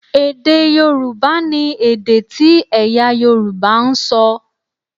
Èdè Yorùbá ni èdè tí ẹ̀yà Yorùbá ń sọ